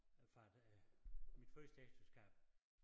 Fra det mit første ægteskab